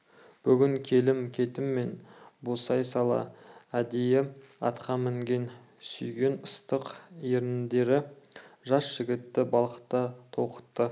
бүгін келім-кетімнен босай сала әдейі атқа мінген сүйген ыстық еріндері жас жігітті балқыта толқытты